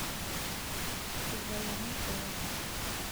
ilpayiani oonguan